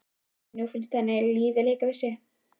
Nú finnst henni lífið leika við sig.